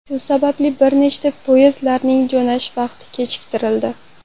Shu sababli bir nechta poyezdning jo‘nash vaqti kechiktirildi.